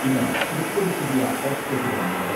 ഇന്ന് മുപ്പത് പുതിയ ഹോട്ട് സ്പോട്ടുകളാണുള്ളത്.